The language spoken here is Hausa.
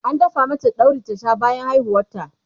an dafa mata dauri ta Sha bayan haihuwar ta